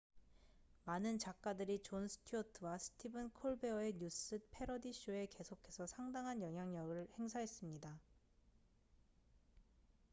많은 작가들이 존 스튜어트와 스티븐 콜베어의 뉴스 패러디 쇼에 계속해서 상당한 영향력을 행사했습니다